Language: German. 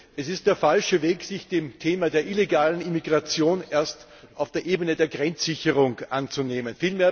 Es ist der falsche Weg, sich des Themas der illegalen Immigration erst auf der Ebene der Grenzsicherung anzunehmen.